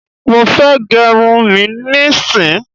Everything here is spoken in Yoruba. Mofe gerun mí ní sìn!